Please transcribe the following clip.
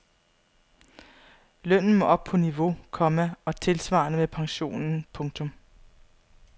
Lønnen må op på niveau, komma og tilsvarende med pensionen. punktum